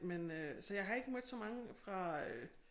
Men øh så jeg har ikke mødt så mange fra øh